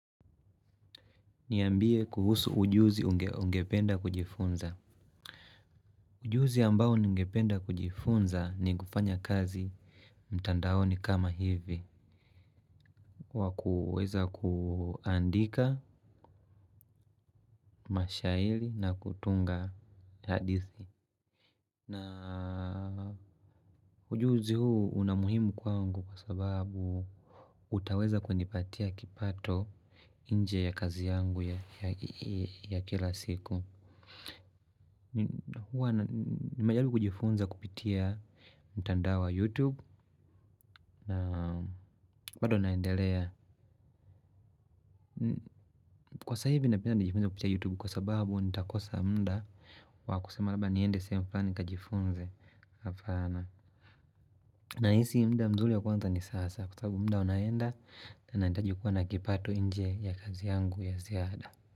Niambie kuhusu ujuzi ungependa kujifunza. Ujuzi ambao ningependa kujifunza ni kufanya kazi mtandaoni kama hivi kwa kuweza kuandika mashaili na kutunga hadithi. Na ujuzi huu unamuhimu kwangu kwa sababu utaweza kwenipatia kipato inje ya kazi yangu ya kila siku. Nimejalibu kujifunza kupitia mtanda wa YouTube. Wado naendelea. Kwa sasa hivi napenda nijifunze kupitia YouTube kwa sababu nitakosa muda. Wakusema labda niende sehemu flani nikajifunze hapana. Nahisi mda mzuli ya kwanza ni sasa. Kwa sababu mda unaenda na nitaji kuwa na kipato nje ya kazi yangu ya ziada.